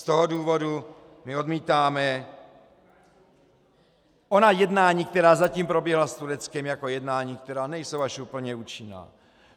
Z toho důvodu my odmítáme ona jednání, která zatím proběhla s Tureckem, jako jednání, která nejsou až úplně účinná.